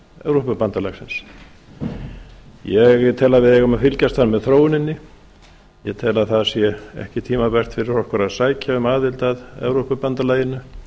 evrópubandalagsins ég tel að við eigum að fylgjast þar með þróuninni ég tel að það sé ekki tímabært fyrir okkur að sækja um aðild að evrópubandalaginu